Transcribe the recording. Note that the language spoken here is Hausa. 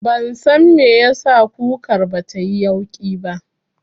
Ban san me yasa kukar batayi yauƙi ba